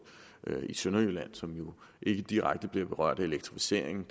og i sønderjylland som jo ikke direkte bliver berørt af elektrificering